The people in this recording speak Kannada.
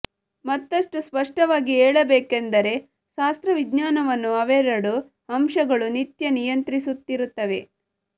ಮತ್ತಷ್ಟು ಸ್ಪಷ್ಟವಾಗಿ ಹೇಳಬೇಕೆಂದರೆ ಶಾಸ್ತ್ರ ವಿಜ್ಞಾನವನ್ನು ಅವೆರಡು ಅಂಶಗಳು ನಿತ್ಯ ನಿಯಂತ್ರಿಸುತ್ತಿರುತ್ತವೆ